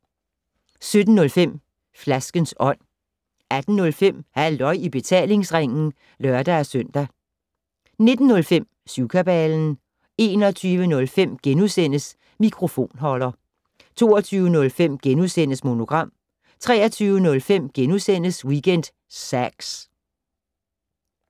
17:05: Flaskens Ånd 18:05: Halløj i betalingsringen (lør-søn) 19:05: Syvkabalen 21:05: Mikrofonholder * 22:05: Monogram * 23:05: Weekend Sax *